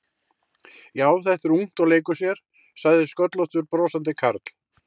Já, þetta er ungt og leikur sér sagði sköllóttur brosandi karl.